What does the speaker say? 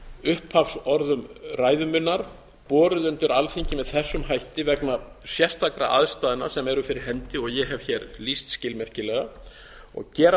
upphafsorðum ræðu minnar borið undir alþingi með þessum hætti vegna sérstakra aðstæðna sem eru fyrir hendi og ég hef hér lýst skilmerkilega og gera